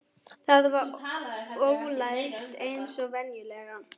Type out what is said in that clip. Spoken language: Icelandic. Það var ólæst eins og venjulega.